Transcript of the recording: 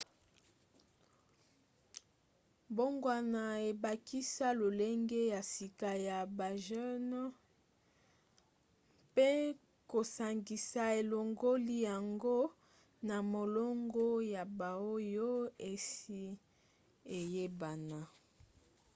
mbongwana ebakisa lolenge ya sika ya bagene mpe kosangisa elongoli yango na molongo ya baoyo esi eyebana